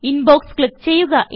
inbox click ചെയ്യുക